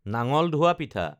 নাঙল ধোৱা পিঠা